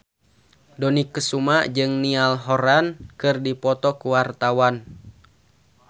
Dony Kesuma jeung Niall Horran keur dipoto ku wartawan